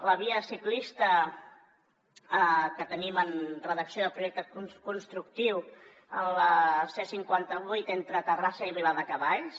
la via ciclista que tenim en redacció de projecte constructiu a la c cinquanta vuit entre terrassa i viladecavalls